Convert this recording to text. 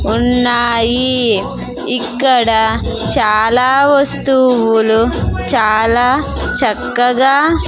ఉన్నాయి ఇక్కడ చాలా వస్తువులు చాలా చక్కగా.